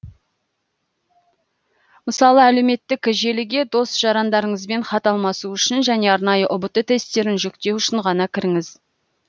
мысалы әлеуметтік желіге дос жарандарыңызбен хат алмасу үшін және арнайы ұбт тесттерін жүктеу үшін ғана кіріңіз